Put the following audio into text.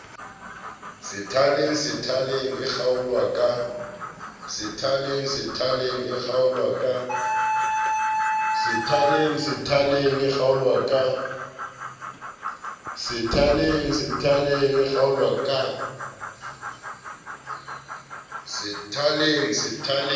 sethaleng sethaleng e kgaolwa ka